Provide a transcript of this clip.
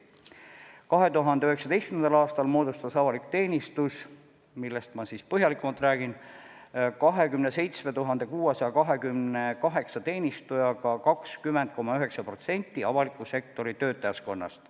2019. aastal moodustas avalik teenistus, millest ma põhjalikumalt räägin, 27 628 teenistujaga 20,9% avaliku sektori töötajaskonnast.